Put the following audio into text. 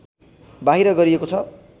बाहिर गरिएको छ